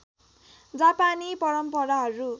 जापानी परम्पराहरू